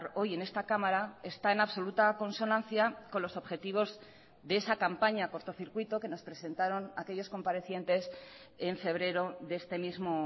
hoy en esta cámara está en absoluta consonancia con los objetivos de esa campaña cortocircuito que nos presentaron aquellos comparecientes en febrero de este mismo